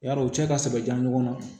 Yarɔ u cɛ ka sɛbɛ ɲɔgɔn na